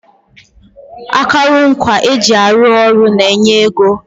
Akụrụngwa eji arụ ọrụ na-enye ego